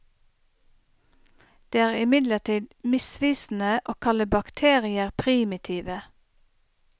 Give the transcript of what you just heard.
Det er imidlertid misvisende å kalle bakterier primitive.